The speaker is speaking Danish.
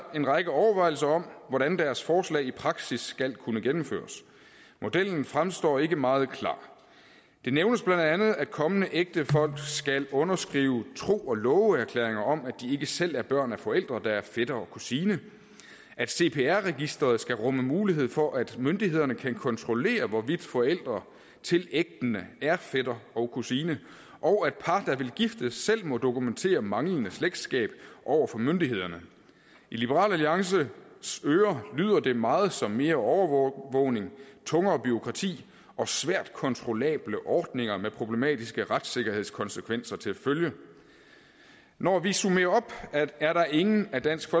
en række overvejelser om hvordan deres forslag i praksis skal kunne gennemføres modellen fremstår ikke meget klar det nævnes bla at kommende ægtefolk skal underskrive en tro og love erklæring om at de ikke selv er børn af forældre der er fætter og kusine at cpr registeret skal rumme mulighed for at myndighederne kan kontrollere hvorvidt forældre til ægtende er fætter og kusine og at par der vil giftes selv må dokumentere manglende slægtskab over for myndighederne i liberal alliances ører lyder det meget som mere overvågning tungere bureaukrati og svært kontrollable ordninger med problematiske retssikkerhedskonsekvenser til følge når vi summerer op er der ingen af dansk